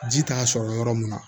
Ji t'a sɔrɔ yɔrɔ mun na